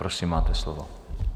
Prosím, máte slovo.